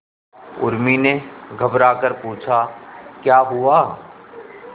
उर्मी ने घबराकर पूछा क्या हुआ